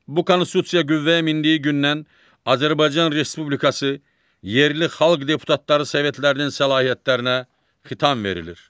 Bu Konstitusiya qüvvəyə mindiyi gündən Azərbaycan Respublikası yerli xalq deputatları sovetlərinin səlahiyyətlərinə xitam verilir.